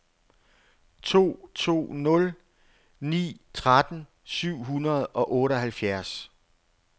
to to nul ni tretten syv hundrede og otteoghalvfjerds